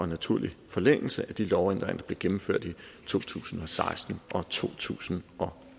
naturlig forlængelse af de lovændringer der blev gennemført i to tusind og seksten og to tusind og